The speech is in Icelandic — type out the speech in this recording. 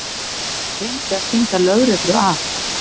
Reyndi að stinga lögreglu af